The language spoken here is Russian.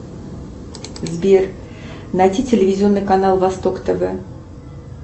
сбер найти телевизионный канал восток тв